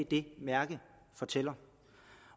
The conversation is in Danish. det mærke fortæller